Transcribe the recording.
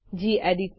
gedit